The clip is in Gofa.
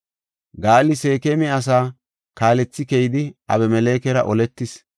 Gaali Seekema asaa kaalethi keyidi Abimelekera oletis.